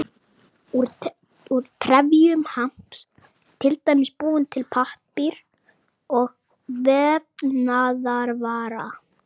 Úr trefjum hamps er til dæmis búinn til pappír og vefnaðarvara.